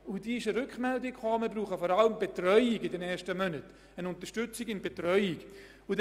Wir haben die Rückmeldung erhalten, dass in den ersten Monaten vor allem eine Unterstützung bei der Betreuung benötigt werde.